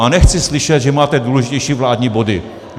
A nechci slyšet, že máte důležitější vládní body.